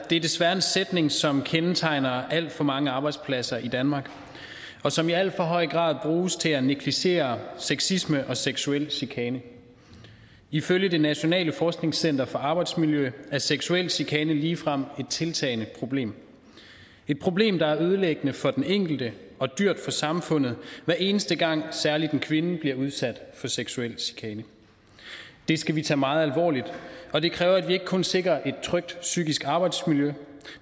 er desværre en sætning som kendetegner alt for mange arbejdspladser i danmark og som i alt for høj grad bruges til at negligere sexisme og seksuel chikane ifølge det nationale forskningscenter for arbejdsmiljø er seksuel chikane ligefrem et tiltagende problem et problem der er ødelæggende for den enkelte og dyrt for samfundet hver eneste gang særligt en kvinde bliver udsat for seksuel chikane det skal vi tage meget alvorligt og det kræver at vi ikke kun sikrer et trygt psykisk arbejdsmiljø